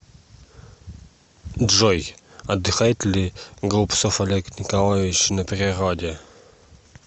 джой отдыхает ли голубцов олег николаевич на природе